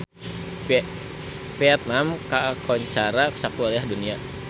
Vietman kakoncara sakuliah dunya